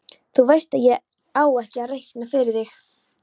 Þú veist að ég á ekki að reikna fyrir þig.